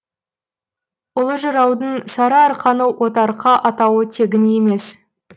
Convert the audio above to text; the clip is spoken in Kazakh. ұлы жыраудың сарыарқаны отарқа атауы тегін емес